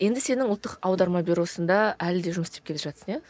енді сенің ұлттық аударма бюросында әлі де жұмыс істеп келе жатырсың иә